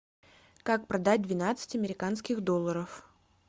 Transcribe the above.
как продать двенадцать американских долларов